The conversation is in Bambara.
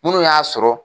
Munnu y'a sɔrɔ